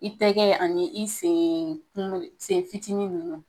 I tɛgɛ ani i sengunu, sen fitinin ninnu.